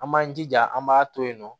An b'an jija an b'a to yen nɔ